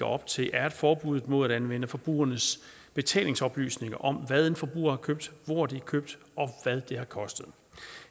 op til er forbuddet mod at anvende forbrugernes betalingsoplysninger om hvad en forbruger har købt hvor det er købt og hvad det koster